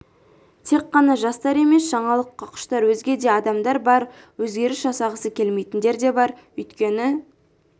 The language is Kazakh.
тек қана жастар емес жаңалыққа құштар өзге де адамдар бар өзгеріс жасағысы келмейтіндер де бар өйткені